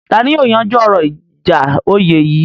Ta ni yóò yanjú ọ̀rọ̀ ìjà oyè yìí?